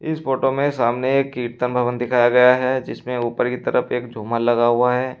इस फोटो में सामने एक कीर्तन भवन दिखाया गया हैं जिसमें ऊपर की तरफ एक झूमर लगा हुआ है।